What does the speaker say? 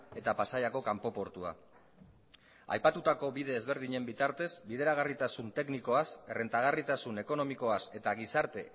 eta pasaiako kanpo portua aipatutako bide ezberdinen bitartez bideragarritasun teknikoaz errentagarritasun ekonomikoaz eta gizarte